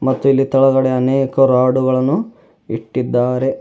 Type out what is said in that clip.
ಮತ್ತು ಇಲ್ಲಿ ತೆಳಗಡೆ ಅನೇಕ ರಾಡುಗಳನ್ನು ಇಟ್ಟಿದ್ದಾರೆ.